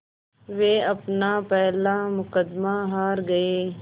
वो अपना पहला मुक़दमा हार गए